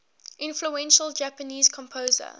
influential japanese composer